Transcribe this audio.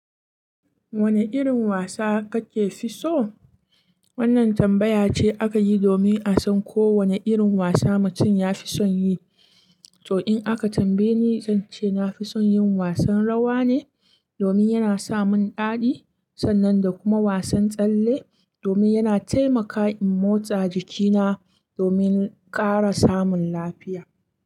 Wane irin wasa kake fi so? Wannan tambaya ce aka yi domin a san ko wane irin wasa mutum ya fi son yi. To, in aka tambaye ni, zan ce na fi son yin wasan rawa ne domin yana sa mun daɗi, sannan da kuma wasan tsalle domin yana taimaka in motsa jikina domin ƙara samun lafiya.